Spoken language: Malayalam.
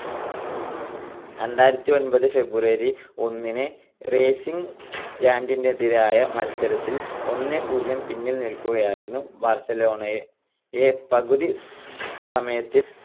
രണ്ടായിരത്തിഒൻപത് February ഒന്നിന് റേസിംഗ് സന്റാൻഡറിനെതിരായ മത്സരത്തിൽ ഒന്ന് - പൂജ്യം പിന്നിൽ നിൽക്കുകയായിരുന്നു ബാർസലോണയെ പകുതി സമയത്തിൽ